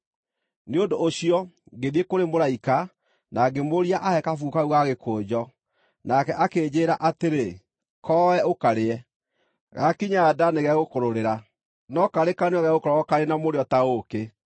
Nĩ ũndũ ũcio, ngĩthiĩ kũrĩ mũraika, na ngĩmũũria aahe kabuku kau ga gĩkũnjo. Nake akĩnjĩĩra atĩrĩ, “Koe, ũkarĩe. Gaakinya nda nĩgegũkũrũrĩra, no karĩ kanua gegũkorwo karĩ na mũrĩo ta ũũkĩ!”